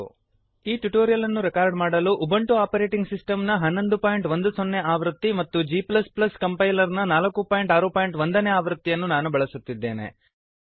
ಈ ಟ್ಯುಟೋರಿಯಲ್ ಅನ್ನು ರೆಕಾರ್ಡ್ ಮಾಡಲು ಉಬುಂಟು ಆಪರೇಟಿಂಗ್ ಸಿಸ್ಟಮ್ ನ 1110 ಆವೃತ್ತಿ ಮತ್ತು g ಕಂಪೈಲರ್ ನ 461 ನೇ ಆವೃತ್ತಿಗಳನ್ನು ನಾನು ಬಳಸುತ್ತಿದ್ದೇನೆ